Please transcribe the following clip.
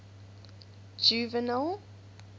juvenal